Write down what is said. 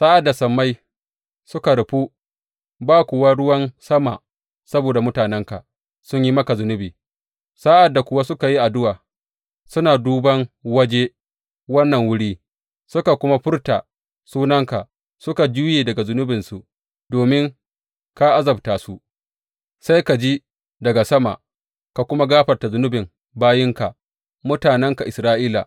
Sa’ad da sammai suka rufu ba kuwa ruwan sama saboda mutanenka sun yi maka zunubi, sa’ad da kuwa suka yi addu’a suna duban waje wannan wuri suka kuma furta sunanka suka juye daga zunubinsu domin ka azabta su, sai ka ji daga sama ka kuma gafarta zunubin bayinka, mutanenka Isra’ila.